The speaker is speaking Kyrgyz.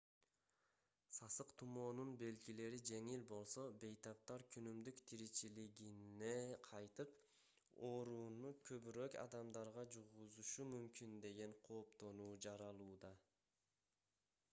сасык тумоонун белгилери жеңил болсо бейтаптар күнүмдүк тиричилигине кайтып оорууну көбүрөөк адамдарга жугузушу мүмкүн деген кооптонуу жаралууда